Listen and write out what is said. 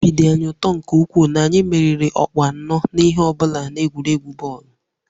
Obi dị anyị ụtọ nke ukwuu na anyị meriri ọkpụ anọ na ihe ọ bụla n'egwuregwu bọọlụ